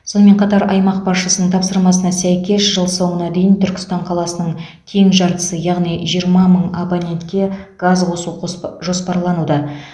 сонымен қатар аймақ басшысының тапсырмасына сәйкес жыл соңына дейін түркістан қаласының тең жартысы яғни жиырма мың абонентке газ қосу қоспа жоспарлануда